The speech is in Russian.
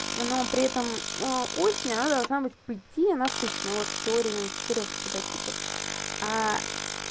но при этом а осень она должна быть по идеи насыщена вот в теории именно четырёх цветотипов